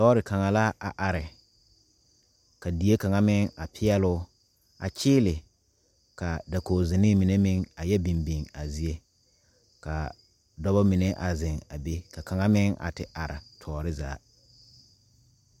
Lɔɔre kaŋa la a are ka fie kaŋa meŋ a peɛle o a kyeele ka dakogzenee mine meŋ a yɛ biŋ biŋ a zie ka dɔba mine a zeŋ a be ka kaŋa meŋ a te are tɔɔre zaa.